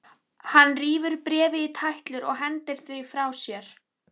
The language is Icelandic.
Hann rífur bréfið í tætlur og hendir því frá sér.